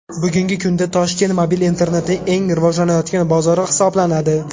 Bugungi kunda Toshkent mobil internetning eng rivojlanayotgan bozori hisoblanadi.